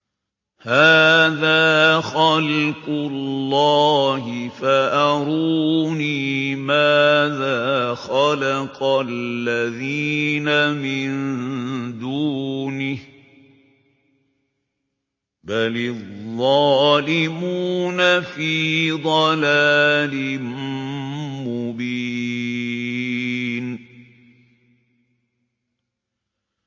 هَٰذَا خَلْقُ اللَّهِ فَأَرُونِي مَاذَا خَلَقَ الَّذِينَ مِن دُونِهِ ۚ بَلِ الظَّالِمُونَ فِي ضَلَالٍ مُّبِينٍ